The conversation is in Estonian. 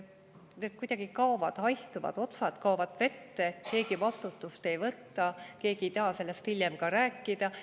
Need kuidagi haihtuvad, otsad kaovad vette, keegi vastutust ei võta, keegi ei taha sellest hiljem ka rääkida.